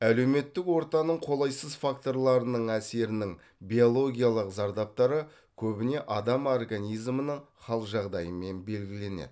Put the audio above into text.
әлеуметтік ортаның қолайсыз факторларының әсерінің биологиялық зардаптары көбіне адам организмінің хал жағдайымен белгіленеді